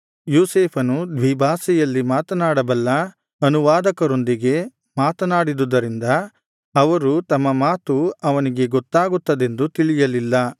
ಯೋಸೇಫನು ದ್ವಿಭಾಷೆಯಲ್ಲಿ ಮಾತನಾಡಬಲ್ಲ ಅನುವಾದಕರೊಂದಿಗೆ ಮಾತನಾಡಿದ್ದರಿಂದ ಅವರು ತಮ್ಮ ಮಾತು ಅವನಿಗೆ ಗೊತ್ತಾಗುತ್ತದೆಂದು ತಿಳಿಯಲಿಲ್ಲ